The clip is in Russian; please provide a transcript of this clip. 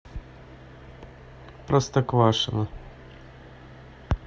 простоквашино